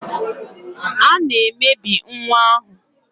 A na-emebi nwa ahụ.